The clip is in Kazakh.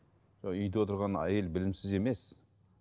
үйде отырған әйел білімсіз емес